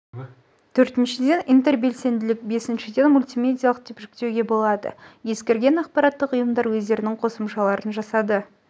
төртіншіден интербелсенділік бесіншіден мультимедиалық деп жіктеуге болады ескірген ақпараттық ұйымдар өздерінің қосымшаларын жасады